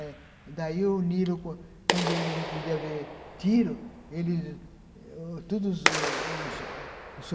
É. Daí o Nilo, quando quando ele não podia ver tiro, ele